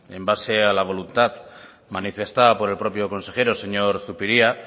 en base a la voluntad manifestada por el propio consejero señor zupiria